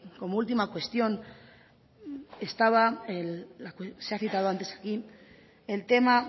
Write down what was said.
como última cuestión estaba se ha citado antes aquí el tema